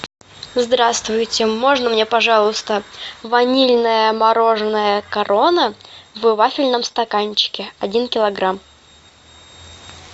здравствуйте можно мне пожалуйста ванильное мороженое корона в вафельном стаканчике один килограмм